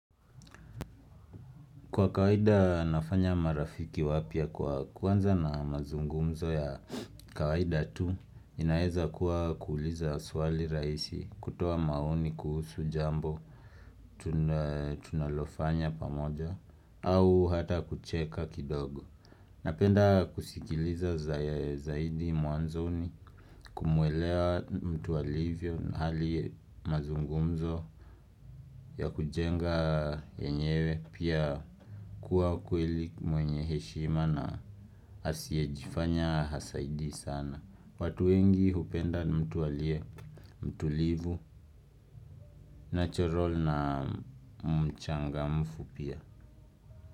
Kwa kawaida nafanya marafiki wapia kwa kuanza na mazungumzo ya kawaida tu inaeza kuwa kuuliza swali raisi kutoa maoni kuhusu jambo tunalofanya pamoja au hata kucheka kidogo Napenda kusikiliza zaidi muanzoni kumuelewa mtu alivyo hali mazungumzo ya kujenga yenyewe pia kuwa kweli mwenye heshima na asiejifanya hasaidi sana. Watu wengi hupenda mtu alie, mtu livu, natural na mchanga mfu pia.